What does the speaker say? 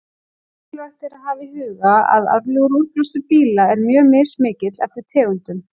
Mikilvægt er að hafa í huga að árlegur útblástur bíla er mjög mismikill eftir tegundum.